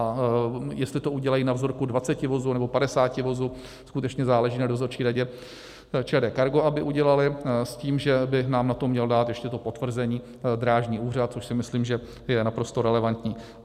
A jestli to udělají na vzorku 20 vozů, nebo 50 vozů, skutečně záleží na Dozorčí radě ČD Cargo, aby udělali, s tím, že by nám na to měl dát ještě to potvrzení Drážní úřad, což si myslím, že je naprosto relevantní.